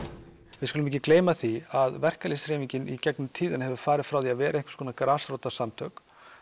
við skulum ekki gleyma því að verkalýðshreyfingin í gegnum tíðina hefur farið frá því að vera einhvers konar grasrótarsamtök